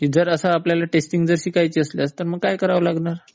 जर आपल्याला असं टेस्टिंग शिकायची असल्यास काय करावं लागणार?